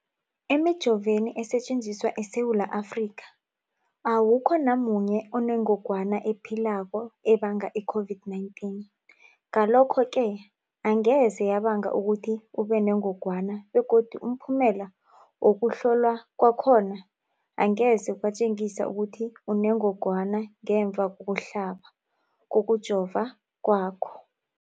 Emijoveni esetjenziswa eSewula Afrika, awukho namunye onengog wana ephilako ebanga i-COVID-19. Ngalokho-ke angeze yabanga ukuthi ubenengogwana begodu umphumela wokuhlolwan kwakho angeze watjengisa ukuthi unengogwana ngemva kokuhlaba, kokujova kwakho.